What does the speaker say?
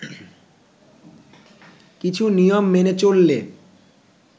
কিছু নিয়ম মেনে চললে